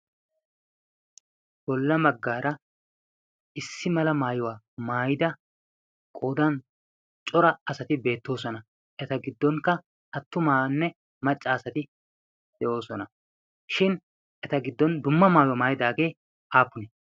bolla baggaara issi mala maayuwaa maayida qoodan cora asati beettoosona. eta giddonkka attumaanne macca asati de7oosona. shin eta giddon dumma maayuwaa maayidaagee aapuni?